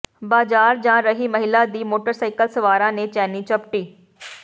ਬਾਜ਼ਾਰ ਜਾ ਰਹੀ ਮਹਿਲਾ ਦੀ ਮੋਟਰਸਾਈਕਲ ਸਵਾਰਾਂ ਨੇ ਚੈਨੀ ਝਪਟੀ